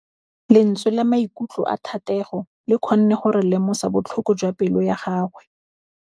Lentswe la maikutlo a Thategô le kgonne gore re lemosa botlhoko jwa pelô ya gagwe.